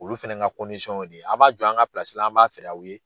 Olu fɛnɛ ka y'o de ye. A' b'a jɔ an ka la, an b'a feer'aw ye